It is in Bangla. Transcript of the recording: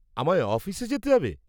-আমায় অফিসে যেতে হবে?